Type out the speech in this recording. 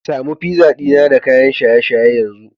ki samu pizza dina da kayan shaye-shaye yanzu